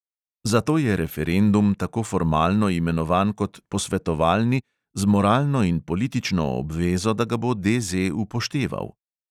Zato je referendum tako formalno imenovan kot posvetovalni z moralno in politično obvezo, da ga bo DZ upošteval.